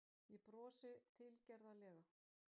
Ég brosi tilgerðarlega.